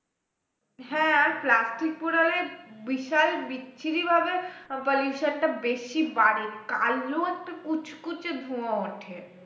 হ্যাঁ plastic পোড়ালে বিশাল বিশ্রী ভাবে pollution টা বেশি বাড়ে কালো একটা কুচকুচে ধোয়া ওঠে